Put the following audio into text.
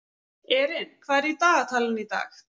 Erin, hvað er í dagatalinu í dag?